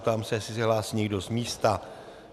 Ptám se, jestli se hlásí někdo z místa.